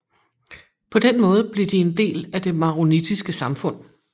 På den måde blev de en del af det maronittiske samfund